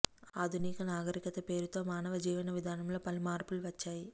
ఆధునిక నాగరికత పేరుతో మానవ జీవన విధానంలో పలు మార్పులు వచ్చాయి